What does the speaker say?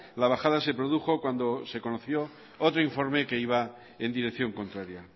la bajada se produjo cuando se conoció otro informe que iba en dirección contraria